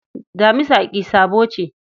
Damisa ƙi sabo ce.